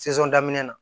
daminɛ na